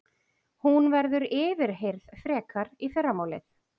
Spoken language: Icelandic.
Hún verður yfirheyrð frekar í fyrramálið